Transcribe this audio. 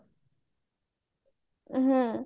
ହୁଁ